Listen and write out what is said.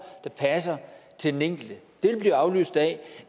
der passer til den enkelte vil blive afløst af